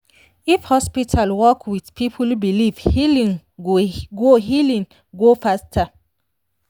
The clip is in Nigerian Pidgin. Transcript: if hospital work with people belief healing go healing go faster.